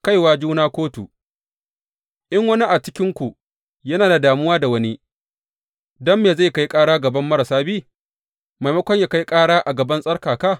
Kaiwa juna kotu In wani a cikinku yana da damuwa da wani, don me zai kai ƙara a gaban marasa bi, maimakon yă kai ƙara a gaban tsarkaka?